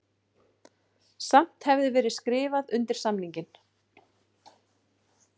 Samt hefði verið skrifað undir samninginn